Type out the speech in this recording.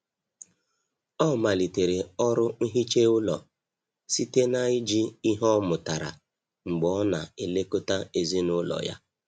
Ọ malitere ọrụ nhicha ụlọ site na iji ihe ọmụrụtara mgbe ọ na-elekọta ezinụlọ ya.